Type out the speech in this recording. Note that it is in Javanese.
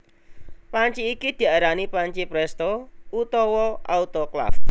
Panci iki diarani panci prèsto utawa autoklaf